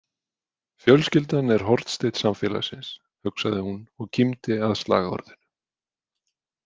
Fjölskyldan er hornsteinn samfélagsins, hugsaði hún og kímdi að slagorðinu.